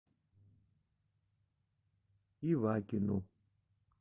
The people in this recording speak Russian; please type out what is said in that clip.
ивакину